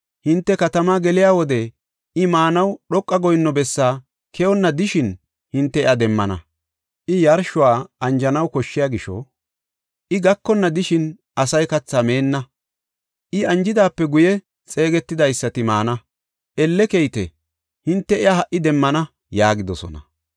Hinte katamaa geliya wode I maanaw dhoqa goyinno bessaa keyonna de7ishin hinte iya demmana. I yarshuwa anjanaw koshshiya gisho I gakonna de7ishin asay kathaa meenna. I anjidaape guye xeegetidaysati maana. Elle keyite; hinte iya ha77i demmana” yaagidosona.